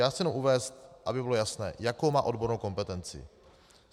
Já chci jen uvést, aby bylo jasno, jakou má odbornou kompetenci.